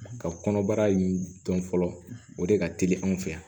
Ka kɔnɔbara in dɔn fɔlɔ o de ka teli anw fɛ yan